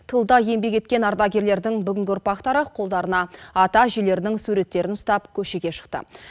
тылда еңбек еткен ардагерлердің бүгінгі ұрпақтары қолдарына ата әжелерінің суреттерін ұстап көшеге шықты